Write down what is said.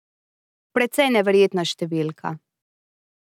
Precej neverjetna številka.